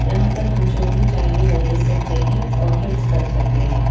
यहाँ पर हम जो भी चाहिए वो ले सकते है और गिफ्टस कर सकते है।